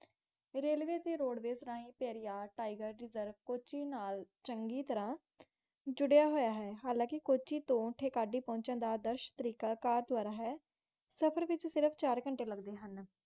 railways ਜਾ road ਨਾਲ ਹੀ, ਕੈਰਿਯਰ ਰਿਸੀਵ ਕੋਚੀ ਨਾਲ ਚੰਗੀ ਤਾਰਾ ਜੁਰਾ ਹੋਇਆ ਹੈ, ਹਾਲਾਂਕਿ ਕਾਜੀ ਤੋਂ ਆਦਰਸ਼ ਤਰੀਕਾ ਕਾਰ ਨਾਲ ਹਾ